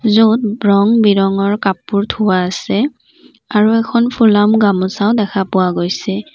য'ত ৰং বিৰঙ কাপোৰ থোৱা আছে আৰু এখন ফুলাম গামোচাও দেখা পোৱা গৈছে।